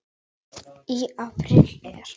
Í apríl er